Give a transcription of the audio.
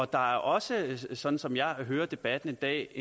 der er også sådan som jeg hører debatten i dag